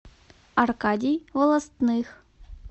аркадий волостных